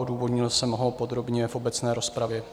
Odůvodnil jsem ho podrobně v obecné rozpravě.